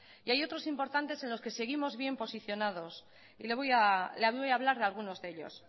y hay otros importantes en los que seguimos bien posicionados y le voy a hablar de algunos de ellos